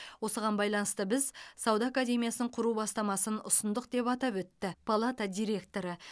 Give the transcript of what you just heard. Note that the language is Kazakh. осыған байланысты біз сауда академиясын құру бастамасын ұсындық деп атап өтті палата директоры